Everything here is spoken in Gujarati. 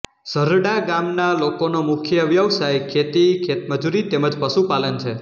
ઝરડા ગામના લોકોનો મુખ્ય વ્યવસાય ખેતી ખેતમજૂરી તેમ જ પશુપાલન છે